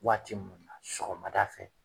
Waati mun na sɔgɔmada fɛ